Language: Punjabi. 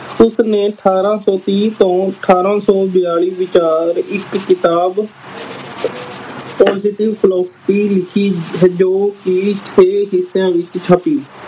ਉਸਨੇ ਅਠਾਰਾਂ ਸੌ ਤੀਹ ਤੋਂ ਅਠਾਰਾਂ ਸੌ ਚਾਲੀ ਹਜ਼ਾਰ ਵਿਚਾਰ ਇਕ ਕਿਤਾਬ ਲਿਖੀ ਪੋਸਿਟਿਵ ਪ੍ਰਾਪਰਟੀ ਲਿਖੀ ਹੈ ਜੋ ਕੇ ਛੇ ਹਿਸਿਆਂ ਵਿਚ ਛਪੀ